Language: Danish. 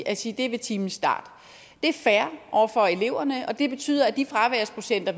at sige at det er ved timens start det er fair over for eleverne og det betyder at de fraværsprocenter